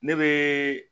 Ne bɛ